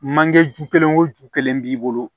Manjeju kelen o ju kelen b'i bolo